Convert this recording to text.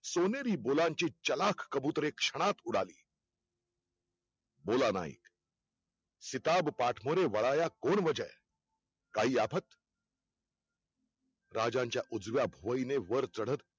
सोनेरी बोलांची चालक कबुतरे क्षणात उडाली बोला नाईक, शिताब पाठमोरे वळायला कोण वजह. काही आफत राजांच्या उजव्या भुवईने वर चढत